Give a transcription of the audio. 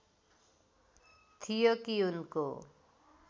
थियो कि उनको